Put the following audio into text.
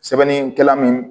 Sɛbɛnnikɛla min